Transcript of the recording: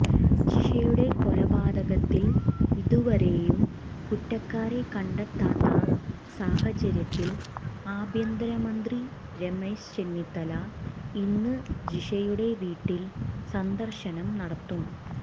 ജിഷയുടെ കൊലപാതകത്തിൽ ഇതുവരെയും കുറ്റക്കാരെ കണ്ടെത്താത്ത സാഹചര്യത്തിൽ ആഭ്യന്തരമന്ത്രി രമേശ് ചെന്നിത്തല ഇന്ന് ജിഷയുടെ വീട്ടിൽ സന്ദർശനം നടത്തും